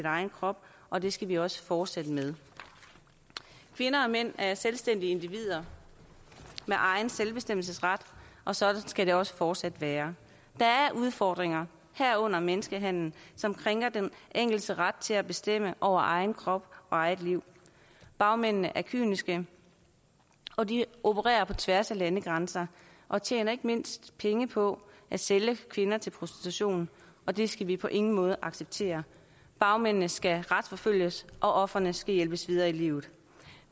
egen krop og det skal vi også fortsætte med kvinder og mænd er selvstændige individer med egen selvbestemmelsesret og sådan skal det også fortsat være der er udfordringer herunder menneskehandel som krænker den enkeltes ret til at bestemme over egen krop og eget liv bagmændene er kyniske og de opererer på tværs af landegrænser og tjener ikke mindst penge på at sælge kvinder til prostitution og det skal vi på ingen måde acceptere bagmændene skal retsforfølges og ofrene skal hjælpes videre i livet